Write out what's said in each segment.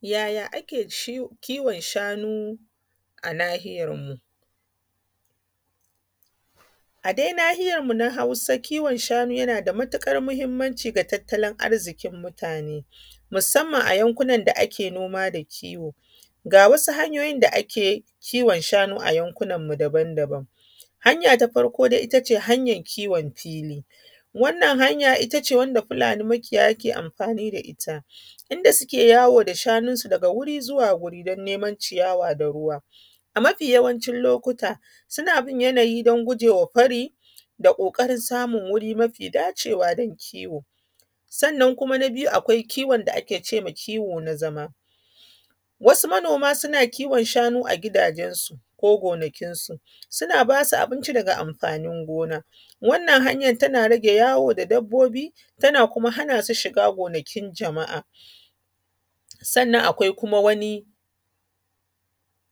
Yaya ake kiwon shanu a nahiyan mu? A dai nahiyan mu na hausa kiwon shanu yana da matuƙar muhimmanci ga tattalin arzikin mutane musamman a yankunan da ke noma da kiwo. Ga wasu hanyoyi da ake kiwon shanu a yankunan mu daban daban. Hanya ta farko ita ce hanyan kiwon fili. Wannan hanya ita ce wanda fulani makiyaya ke amfani da ita, inda suke yawon shanun su daga wuri zuwa wuri don neman ciyawa, da ruwa. Mafi yawancin lokuta suna bin yanayi don gujewa fari da ƙoƙarin samun wuri mafi dacewa don kiwo. Sannan kuma na biyu akwai kiwon da ake cewa kiwo na zama. Wasu manoma suna kiwon shanu a gidajensu, ko gonakinsu. Suna ba su abinci daga amfanin gona. Wannan hanyan tana rage yawo da dabbobi, tana kuma hana su shiga gonakin jama’a. Sannan kuma akwai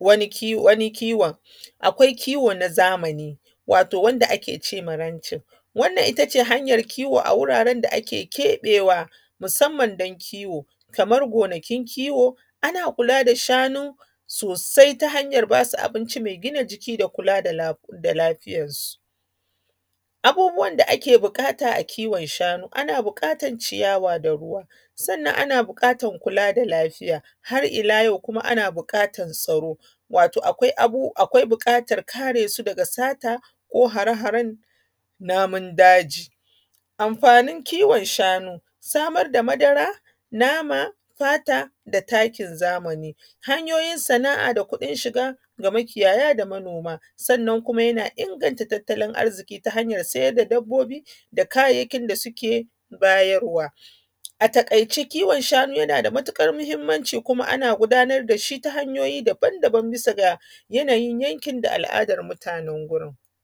wani kiwon akwai kiwo na zamani wato wanda ake ce ma ranching. Wannan ita ce hanyan kiwo a wuraren da ake keɓewa musamman don kiwo, kamar gonakin kiwo. Ana kula da shanu sosai ta hanya ba su abinci mai gina jiki da kula da lafiyarsu. Abubuwan da ake buƙata a kiwon shanu. Ana buƙatan ciyawa, da ruwa, sannan ana buƙatan kula da lafiya, har ila yau kuma an buƙatan tsaro, wato akwai buƙatan kare su daga sata ko hare haren namun daji. Amfanin kiwon shanu, samar da madara, nama, fata, da takin zamani, hanyoyi sana’a, da kuɗin shiga ga makiyaya, da manoma. Sannan kuma yana inganta tattalin arziki ta hanyan siyar da dabbobi da kayayyakin da suke bayar wa. A taƙaice kiwon shanu yana da matuƙar muhimmanci, kuma ana gudanar da shi ta hanyoyi daban daban, bisa ga yanayin yankin, da al’adan mutanen gurin.